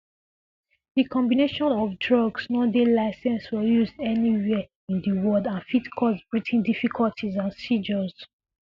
dis combination um of um drugs no dey licensed for use anywhere in di world and fit cause breathing difficulties and seizures